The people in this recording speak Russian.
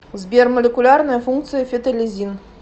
сбер молекулярная функция фетолизин